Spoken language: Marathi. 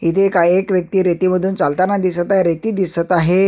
इथे काही एक व्यक्ति रेती मधून चालताना दिसत आहे रेती दिसत आहे.